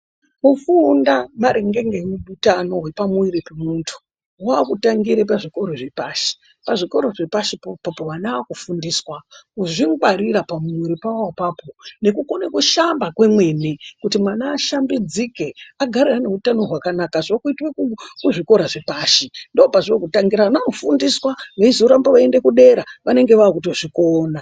Kufunda maringe ngeutano hwepamuwiri pemuntu hwakutangire pazvikora zvapashi . Pazvikora zvapashi popopo vana vakufundiswa kuzvingwarira pamuwiri pawo ipapo nekukone kushamba kwemwene kuti mwana ashambidzike agare ane hutano hwakanaka zvokuitwe kuzvikora zvepashi ndopazvokutangira ana akufundiswe veizoramba veienda kudera vanenge vakutozvikona.